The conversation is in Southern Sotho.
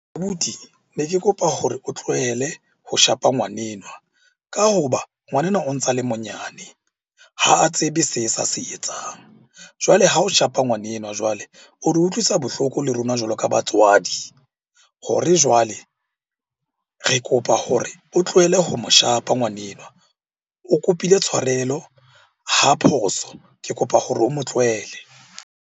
Abuti, ne ke kopa gore o tlohele ho shapa ngwanenwa ka ho ba ngwanenwa o ntsa le monyane, ha a tsebe se sa se etsang. Jwale ha o shapa ngwanenwa jwale, o re utlwisa bohloko le rona jwalo ka batswadi. Hore jwale re kopa hore o tlohele ho mo shapa ngwanenwa. O kopile tshwarelo, ha phoso. Ke kopa hore o mo tlohele.